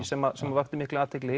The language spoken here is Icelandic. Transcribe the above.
sem vakti mikla athygli